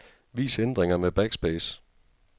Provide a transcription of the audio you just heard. Vis ændringer med backspace.